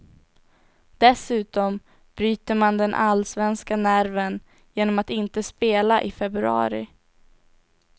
Dessutom bryter man den allsvenska nerven genom att inte spela i februari.